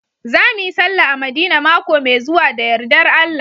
Za mu yi sallah a madina maƙo mai zuwa da yarɗar Allah